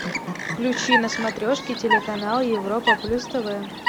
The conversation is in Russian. включи на смотрешке телеканал европа плюс тв